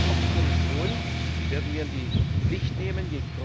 Auch die Kommission werden wir in die Pflicht nehmen.